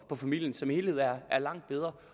familien som helhed er langt bedre